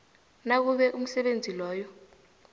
nakube umsebenzi loyo